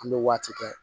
An bɛ waati kɛ